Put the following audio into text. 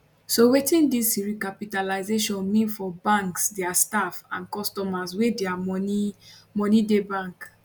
so wetin dis recapitalisation mean for banks dia staff and customers wey dia money money dey bank